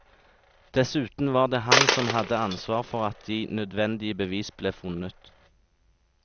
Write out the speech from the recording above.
Dessuten var det han som hadde ansvar for at de nødvendige bevis ble funnet.